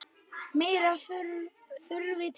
Meira þurfi til.